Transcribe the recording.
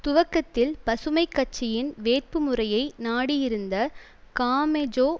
துவக்கத்தில் பசுமை கட்சியின் வேட்பு முறையை நாடியிருந்த காமெஜோ